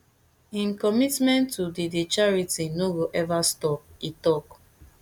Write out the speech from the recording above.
im commitment to di di charity no go ever stop e tok